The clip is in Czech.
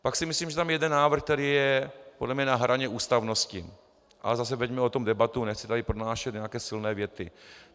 Pak si myslím, že tam je jeden návrh, který je podle mě na hraně ústavnosti, ale zase veďme o tom debatu, nechci tady pronášet nějaké silné věty.